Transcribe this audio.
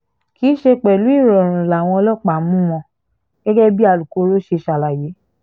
kì í ṣe pẹ̀lú ìrọ̀rùn làwọn ọlọ́pàá mú wọn gẹ́gẹ́ bí alūkkoro ṣe ṣàlàyé